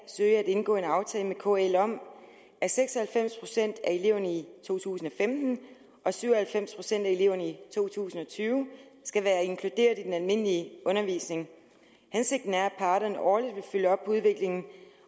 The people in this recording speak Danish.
søge at indgå en aftale med kl om at seks og halvfems procent af eleverne i to tusind og femten og syv og halvfems procent af eleverne i to tusind og tyve skal være inkluderet i den almindelige undervisning hensigten er at parterne årligt vil følge op på udviklingen